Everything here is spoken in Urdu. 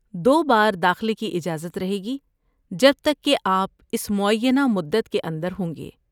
دو بار داخلے کی اجازت رہے گی جب تک کہ آپ اس معینہ مدت کے اندر ہوں گے۔